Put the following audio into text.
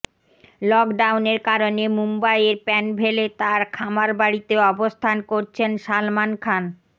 লকডাউনের কারণে মুম্বাইয়ের প্যানভেলে তার খামার বাড়িতে অবস্থান করছেন সালমান খান